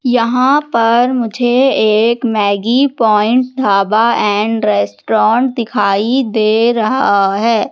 यहां पर मुझे एक Maggi Point Dhaba and Restaurant दिखाई दे रहा है।